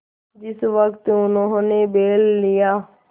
जिस वक्त उन्होंने बैल लिया